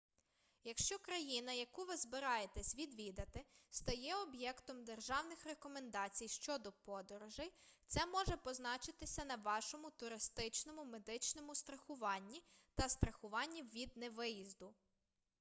якщо країна яку ви збираєтесь відвідати стає об'єктом державних рекомендацій щодо подорожей це може позначитися на вашому туристичному медичному страхуванні та страхуванні від невиїзду